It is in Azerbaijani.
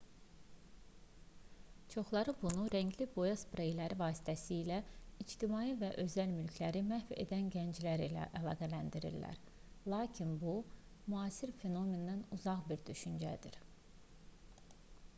çoxları bunu rəngli boya spreyləri vasitəsilə ictimai və özəl mülkləri məhv edən gənclər ilə əlaqələndirirlər lakin bu müasir fenomendən uzaq bir düşüncədir